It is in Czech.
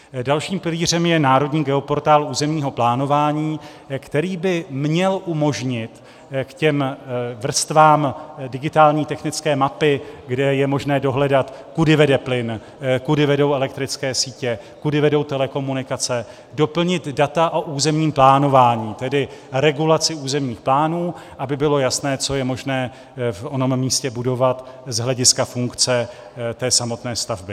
Dalším pilířem je národní geoportál územního plánování, který by měl umožnit k těm vrstvám digitální technické mapy, kde je možné dohledat, kudy vede plyn, kudy vedou elektrické sítě, kudy vedou telekomunikace, doplnit data o územním plánování, tedy regulaci územních plánů, aby bylo jasné, co je možné v onom místě budovat z hlediska funkce té samotné stavby.